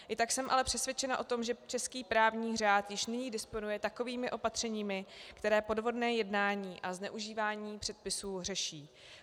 I tak jsem ale přesvědčena o tom, že český právní řád již nyní disponuje takovými opatřeními, která podvodné jednání a zneužívání předpisů řeší.